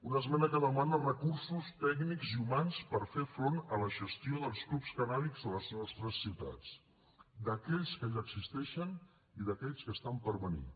una esmena que demana recursos tècnics i humans per fer front a la gestió dels clubs cànnabis de les nostres ciutats d’aquells que ja existeixen i d’aquells que estan per venir